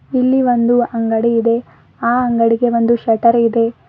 ಇಲ್ಲಿ ಒಂದು ಅಂಗಡಿ ಇದೆ ಆ ಅಂಗಡಿಗೆ ಒಂದು ಶಟರ್ ಇದೆ.